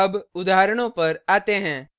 अब उदाहरणों पर आते हैं